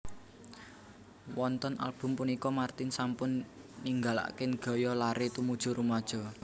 Wonten album punika martin sampun ninggalaken gaya lare tumuju rumaja